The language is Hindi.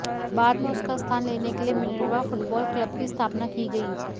बाद में उसका स्थान लेने के लिए मिनर्वा फुटबाल क्लब की स्थापना की गई